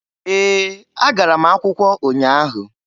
Ee! Agara m akwụkwọ ụnya ahụ.